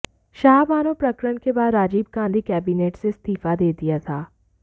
शाहबानो प्रकरण के बाद राजीव गांधी कैबिनेट से इस्तीफा दे दिया था